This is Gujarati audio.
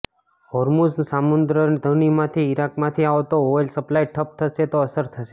હોર્મુઝની સામુદ્રધુનીથી ઈરાકમાંથી આવતો ઓઈલ સપ્લાય ઠપ થશે તો અસર થશે